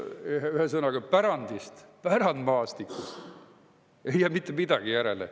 Ühesõnaga, pärandist, pärandmaastikust ei jää mitte midagi järele.